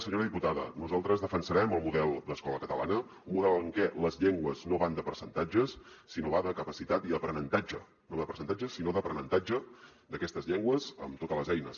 senyora diputada nosaltres defensarem el model d’escola catalana un model en què les llengües no van de percentatges sinó que van de capacitat i aprenentatge no de percentatges sinó d’aprenentatge d’aquestes llengües amb totes les eines